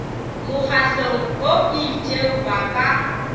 mokgahlong o itšeng ba ka